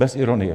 Bez ironie.